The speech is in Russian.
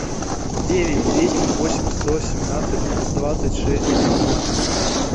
девять двести восемь сто семнадцать двадцать шесть девятнадцать